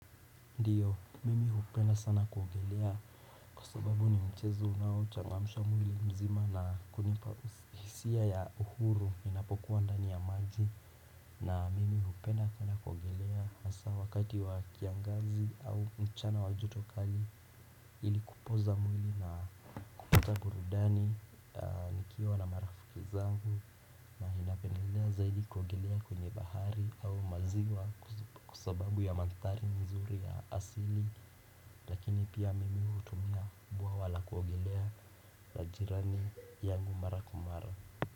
Ndio mimi hupenda sana kuogelea kwa sababu ni mchezo unao changamsha mwili mzima na kunipa hisia ya uhuru inapokuwa ndani ya maji na mimi hupenda sana kuogelea hasa wakati wa kiangazi au mchana wa joto kali ilikupoza mwili na kutaburudani nikiwa na marafiki zangu ninapenelea zaidi kuogelea kwenye bahari au maziwa kwa sababu ya mandhari mazuri ya asili Lakini pia mimi utumia buawa la kuogelea la jirani yangu mara kwa mara.